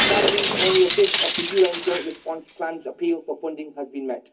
Sadly, only one fifth of the UN Joint Response Plan's appeal for funding has been met.